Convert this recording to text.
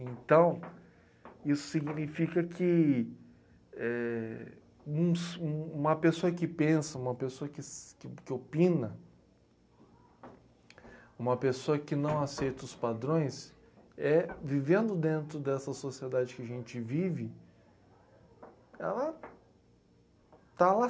Então, isso significa que, éh... um s, um uma pessoa que pensa, uma pessoa que s que opina, uma pessoa que não aceita os padrões é, vivendo dentro dessa sociedade que a gente vive, ela está